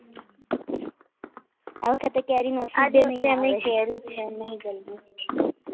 આ વખતે કેરી